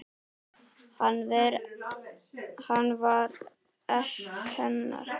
Hann var hennar.